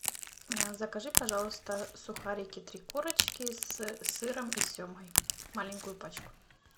закажи пожалуйста сухарики три корочки с сыром и семгой маленькую пачку